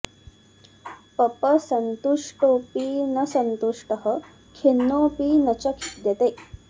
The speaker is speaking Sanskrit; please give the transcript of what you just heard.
पप सन्तुष्टोऽपि न सन्तुष्टः खिन्नोऽपि न च खिद्यते